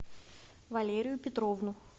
валерию петровну